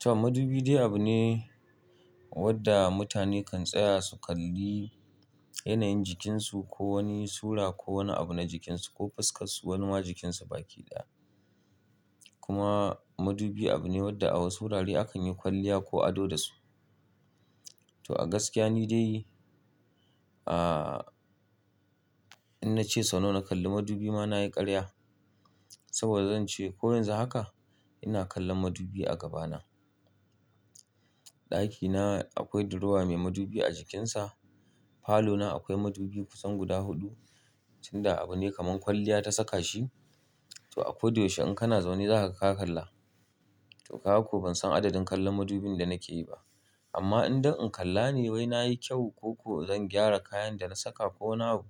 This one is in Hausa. To madubi dai abu ne wanda mutane kan tsaya su kalli yanayin jikinsu ko wani sura ko wani abu na jikinsu ko fuskarsu wani ma jikinsa baki ɗaya. Kuma madubi abu ne wadda a wasu wurare akan yi kwalliya ko ado da su. To a gaskiya ni dai in na ce sau nawa na kalli madubi ma na yi ƙarya. Saboda zan ce ko yanzu haka ina kallon madubi a gabana. Ɗakina akwai duruwa mai madubi a jikinsa. Falona akwai madubi kusan guda huɗu, tunda abu ne kaman kwalliya ta saka shi. To a koda yaushe in kana zaune za ka ga ka kalla. To kaga ko ban san adadin kallon madubin da nake yi ba. Amma idan in kalla ne wai na yi kyau ko ko zan gyara kayan da na saka ko wani abu,